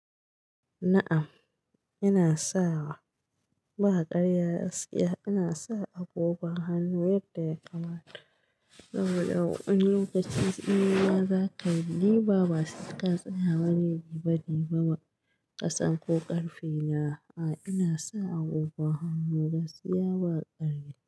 Na'am, ina sawa ba karya gaskiya. Ina sa agogon hannu yadda ya kamata. Saboda wani lokaci in ya zaka diba ba sai ka tsaya wani diba diban ma kasan ko ƙarfe. A'a ina sa agogon hannu gaskiya ba karya.